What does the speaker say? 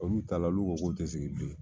Olu taar, olu ko k' u tɛ segin bilen.